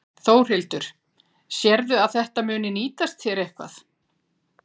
Þórhildur: Sérðu að þetta muni nýtast þér eitthvað?